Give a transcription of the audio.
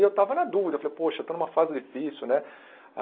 E eu estava na dúvida, eu falei, poxa, estou numa fase difícil, né?